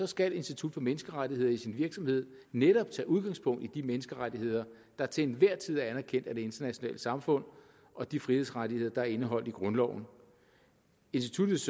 skal institut for menneskerettigheder i sin virksomhed netop tage udgangspunkt i de menneskerettigheder der til enhver tid er anerkendt af det internationale samfund og de frihedsrettigheder der er indeholdt i grundloven instituttets